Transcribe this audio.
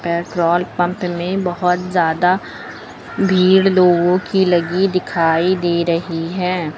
Petrol pump में बहोत ज्यादा भीड़ लोगों की लगी दिखाई दे रही है।